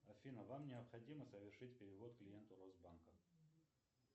афина вам необходимо совершить перевод клиенту росбанка